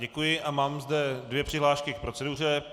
Děkuji a mám zde dvě přihlášky k proceduře.